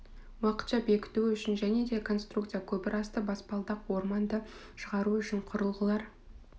уақытша бекіту үшін және де конструкция көпірасты баспалдақ орманды шығару үшін құрылғылар